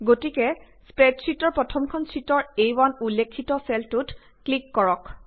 গতিকে স্প্ৰেডশ্বিটৰ প্ৰথমখন শ্বিটৰ আ1 উল্লেখিত চেলটোত ক্লিক কৰক